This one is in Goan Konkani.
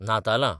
नातालां